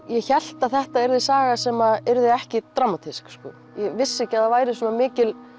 ég hélt að þetta yrði saga sem yrði ekki dramatísk ég vissi ekki að það væri svona mikil